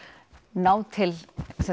ná til